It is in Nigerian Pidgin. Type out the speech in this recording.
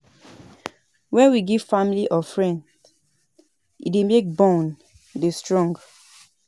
When we give family or friend e dey make bond dey strong